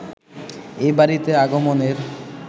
এ বাড়িতে আগমনের